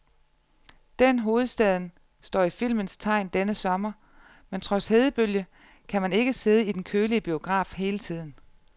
Den hovedstaden står i filmens tegn denne sommer, men trods hedebølge kan man ikke sidde i den kølige biograf hele tiden.